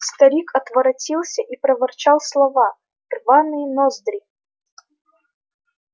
старик отворотился и проворчал слова рваные ноздри